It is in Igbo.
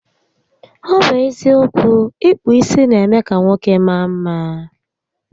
Ọ bụ eziokwu, ịkpụ isi n'eme ka nwoke maa mma